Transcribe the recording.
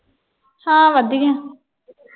ਹਾਂ ਵਧੀਆ।